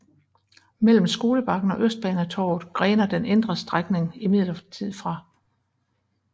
Mellem Skolebakken og Østbanetorvet grener den indre strækning imidlertid fra